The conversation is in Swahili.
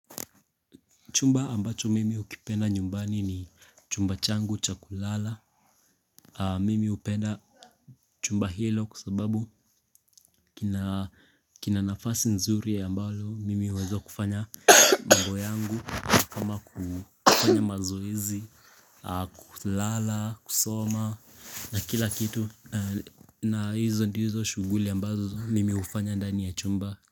Chumba ambacho mimi ukipenda nyumbani ni chumba changu cha kulala, mimi upenda chumba hilo kwa sababu kina nafasi nzuri ambalo, mimi huweza kufanya mambo yangu, kama kufanya mazoezi, kulala, kusoma, na kila kitu, na hizo ndizo shughuli ambazo mimi hufanya ndani ya chumba.